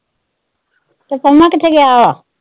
ਤੇ ਪੰਮਾ ਕਿੱਥੇ ਗਿਆ ਹੋਇਆ?